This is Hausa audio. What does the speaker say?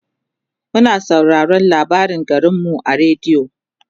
muna sauraraon labarin garinmu a radio